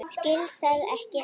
Skil það ekki enn.